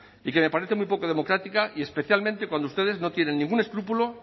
y que me parece muy poco democrática y especialmente cuando ustedes no tienen ningún escrúpulo